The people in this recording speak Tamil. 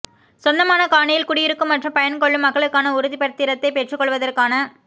சொந்தமான காணியில் குடியிருக்கும் மற்றும் பயன் கொள்ளும் மக்களுக்கான உறுதிப்பத்திரத்தை பெற்றுக்கொள்வதற்கான